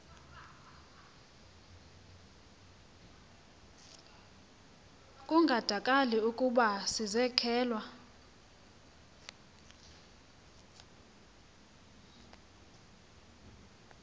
kungandakali ukuba sizekelwe